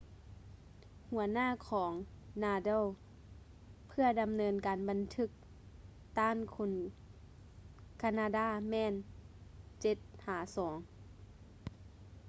ຫົວໜ້າຂອງ nadal ເພື່ອດຳເນີນການບັນທຶກຕ້ານຄົນການາດາແມ່ນ 7-2